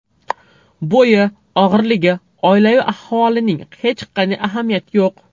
Bo‘yi, og‘irligi, oilaviy ahvolining hech qanday ahamiyati yo‘q.